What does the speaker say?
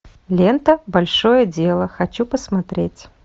лента большое дело хочу посмотреть